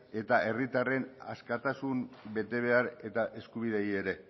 eta herritarren askatasun betebehar eta eskubideei ere